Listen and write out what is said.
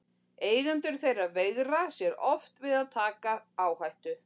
Eigendur þeirra veigra sér oft við að taka áhættu.